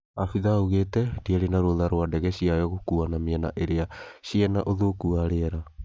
afithaa augĩte ndĩarĩ na rũtha rwa ndege ciayo gũkuana mĩena ĩrĩa cina ũthũku wa rĩera